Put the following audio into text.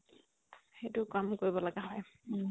সেইটো কাম কৰিব লগিয়া হয়